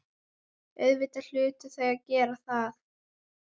Auðvitað hlytu þau að gera það.